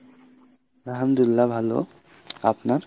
আলহামদুলিল্লাহ ভালো আপনার?